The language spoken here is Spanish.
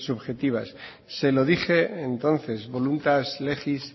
subjetivas se lo dije entonces voluntas legis